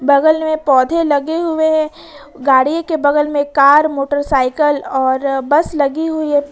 बगल में पौधे लगे हुए हैं गाड़ी के बगल में कार मोटरसाइकिल और बस लगी हुई है।